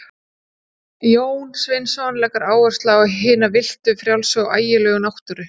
Jón Sveinsson leggur áherslu á hina villtu, frjálsu og ægilegu náttúru.